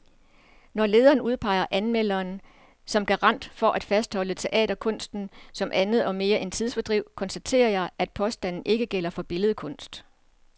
Når lederen udpeger anmelderen som garant for at fastholde teaterkunsten som andet og mere end tidsfordriv, konstaterer jeg, at påstanden ikke gælder for billedkunst.